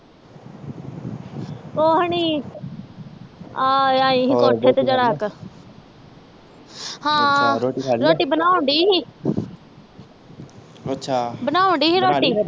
ਕੁਛ ਨਹੀਂ ਆ ਆਈ ਸੀ ਕੋਠੇ ਤੇ ਜਰਾ ਕ ਹਾਂ ਰੋਟੀ ਬਣਾਉਣ ਡਈ ਸੀ ਅੱਛਾ ਬਣਾਉਣ ਡਈ ਸੀ ਰੋਟੀ